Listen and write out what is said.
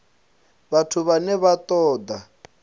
vhathu vhane vha ṱo ḓa